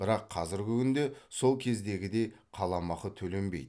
бірақ қазіргі күнде сол кездегідей қаламақы төленбейді